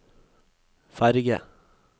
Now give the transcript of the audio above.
ferge